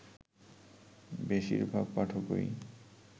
বেশির ভাগ পাঠকই